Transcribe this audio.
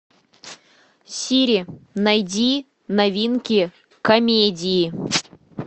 сири найди новинки комедии